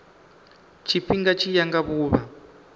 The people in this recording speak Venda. tshifhinga tshi ya nga vhuvha